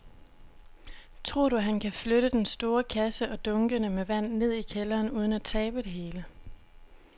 Tror du, at han kan flytte den store kasse og dunkene med vand ned i kælderen uden at tabe det hele?